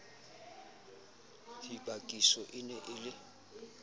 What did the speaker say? dibakiso e ne e le